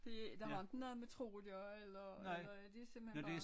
Det det har ikke noget med tro at gøre eller eller det simpelthen bare